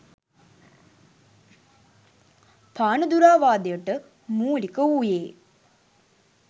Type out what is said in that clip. පානදුරාවාදයට මූලික වූයේ